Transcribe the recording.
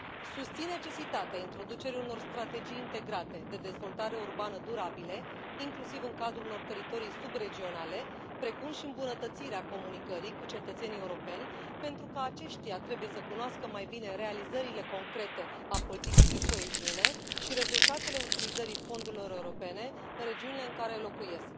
Susțin necesitatea introducerii unor strategii integrate de dezvoltare urbană durabile, inclusiv în cadrul unor teritorii subregionale, precum și îmbunătățirea comunicării cu cetățenii europeni, pentru că aceștia trebuie să cunoască mai bine realizările concrete ale politicii de coeziune și rezultatele utilizării fondurilor europene în regiunile în care locuiesc.